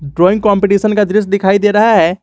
Drawing competition का दृश्य दिखाई दे रहा है।